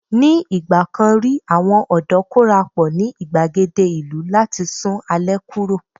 ní igbakan ri àwọn ọdọ korapo ni igbagede ìlú láti sun alẹ́ kuro